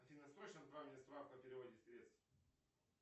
афина срочно отправь мне справку о переводе средств